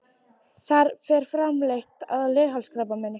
Þar fer fram leit að leghálskrabbameini.